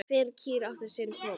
Hver kýr átti sinn poka.